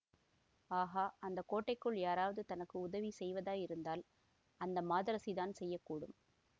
ஆகா அந்த கோட்டைக்குள் யாராவது தனக்கு உதவி செய்வதாயிருந்தால் அந்த மாதரசிதான் செய்ய கூடும்